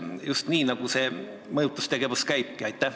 Kas nii see mõjutustegevus käibki?